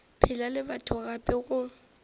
phela le batho gape go